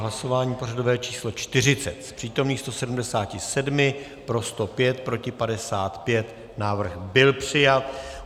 Hlasování pořadové číslo 40, z přítomných 177 pro 105, proti 55, návrh byl přijat.